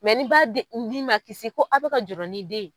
ni b'a den ni ma kisi ko aw bɛ ka jɔrɔ ni den ye.